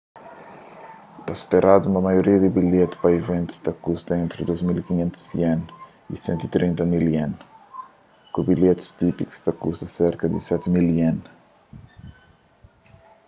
ta speradu ma maioria di bilheti pa iventus ta kusta entri ¥2.500 y ¥130.000 ku bilhetis típiku ta kusta serka di ¥7.000